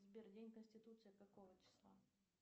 сбер день конституции какого числа